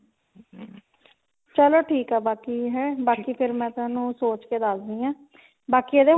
ਚਲੋ ਠੀਕ ਹੈ ਬਾਕੀ ਹੈਂ ਬਾਕੀ ਫਿਰ ਮੈਂ ਤੁਹਾਨੂੰ ਸੋਚ ਕੇ ਦੱਸਦੀ ਆਂ ਬਾਕੀ ਇਹਦੇ ਹੁਣ